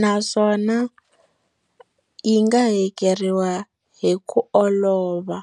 naswona yi nga hakeriwa hi ku olova.